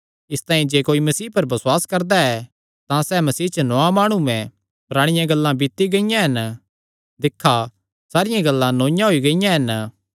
इसतांई जे कोई मसीह पर बसुआस करदा ऐ तां सैह़ मसीह च नौआं माणु ऐ पराणियां गल्लां बीती गियां हन दिक्खा सारियां गल्लां नौईआं होई गियां हन